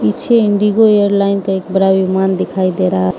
पीछे IndiGo airline का एक बड़ा विमान दिखाई दे रहा--